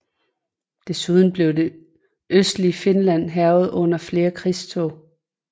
Desuden blev det østlige Finland hærget under flere krigstog